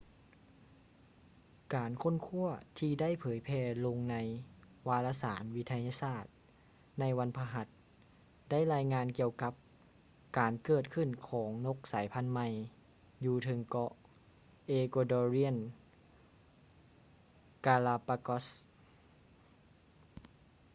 ການຄົ້ນຄວ້າ ທີ່ໄດ້ເຜີຍແຜ່ລົງໃນວາລະສານວິທະຍາສາດ ໃນວັນພະຫັດ ໄດ້ລາຍງານກ່ຽວກັບ ການເກີດຂຶ້ນຂອງນົກສາຍພັນໃໝ່ ຢູ່ເທິງເກາະ ເອກົວດໍຣຽນ ກາລາປາກອສ໌ ecuadorean galápagos